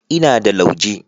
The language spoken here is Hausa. Ina da lauje.